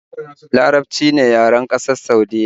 Larabci ne yaren ƙasar Saudiyya